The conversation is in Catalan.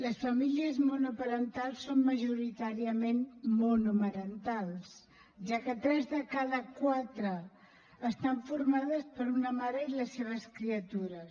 les famílies monoparentals són majoritàriament monomarentals ja que tres de cada quatre estan formades per una mare i les seves criatures